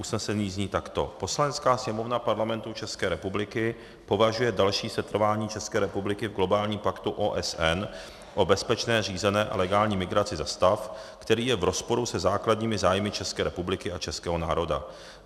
Usnesení zní takto: "Poslanecká sněmovna Parlamentu České republiky považuje další setrvání České republiky v globálním paktu OSN o bezpečné, řízené a legální migraci za stav, který je v rozporu se základními zájmy České republiky a českého národa.